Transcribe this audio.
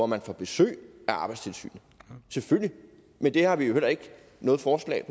man får besøg af arbejdstilsynet selvfølgelig men det har vi jo heller ikke noget forslag